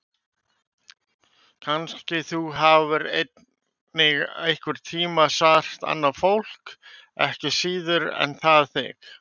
Kannski þú hafir einnig einhvern tíma sært annað fólk, ekki síður en það þig.